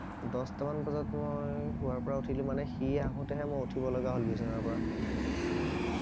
দহটা মান বজাত মই শোৱাৰ পৰা উঠিলো মানে সি আহোতেহে মই উঠিব লগা হল বিছনাৰ পৰা অহ